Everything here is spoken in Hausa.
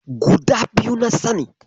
Guda biyu na sani.